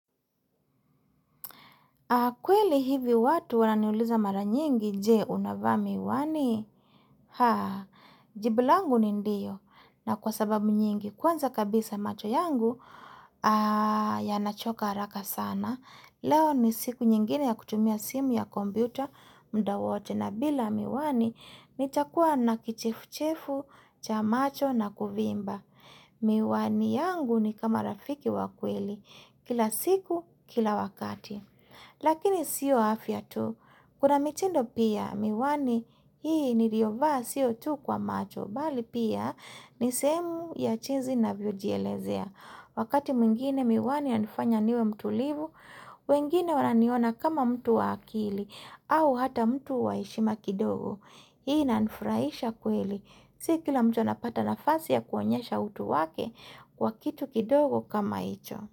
Kweli hivi watu wananiuliza mara nyingi, je unavaa miwani? Haa, jibu langu ni ndiyo, na kwa sababu nyingi, kwanza kabisa macho yangu, yanachoka haraka sana. Leo ni siku nyingine ya kutumia simu ya kompyuta, muda wote, na bila miwani, nichakua na kichefu-chefu, cha macho na kuvimba. Miwani yangu ni kama rafiki wa kweli, kila siku, kila wakati. Lakini sio afya tu Kuna mitindo pia miwani hii niliovaa sio tu kwa macho Bali pia nisehemu ya jinsi navyojielezea Wakati mwingine miwani yanifanya niwe mtulivu wengine wananiona kama mtu wa akili au hata mtu wa heshima kidogo Hii inanifurahisha kweli Si kila mtu anapata nafasi ya kuonyesha utu wake Kwa kitu kidogo kama hicho.